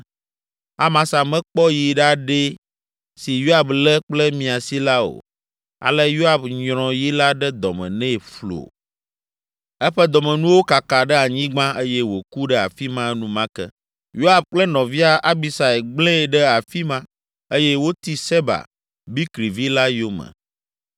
Amasa mekpɔ yi ɖaɖɛ si Yoab lé kple miasi la o. Ale Yoab nyrɔ yi la ɖe dɔme nɛ flo, eƒe dɔmenuwo kaka ɖe anyigba eye wòku ɖe afi ma enumake. Yoab kple nɔvia Abisai gblẽe ɖe afi ma eye woti Seba, Bikri vi la yome.